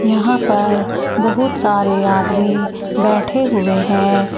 यहां पर बहुत सारे आदमी बैठे हुए हैं।